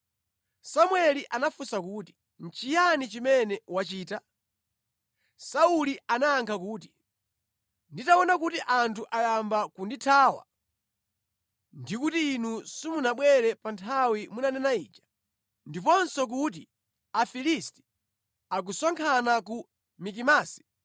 Samueli anafunsa kuti, “Nʼchiyani chimene wachita?” Sauli anayankha kuti, “Nditaona kuti anthu ayamba kundithawa, ndi kuti inu simunabwere pa nthawi munanena ija, ndiponso kuti Afilisti akusonkhana ku Mikimasi,